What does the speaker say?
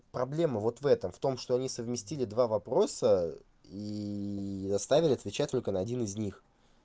проблема вот в этом в том что они совместили два вопроса и заставили отвечать только на один из них